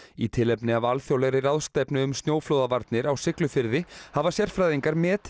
í tilefni af alþjóðlegri ráðstefnu um snjóflóðavarnir á Siglufirði hafa sérfræðingar metið